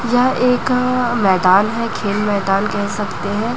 यह एक मैदान है खेल मैदान कह सकते हैं।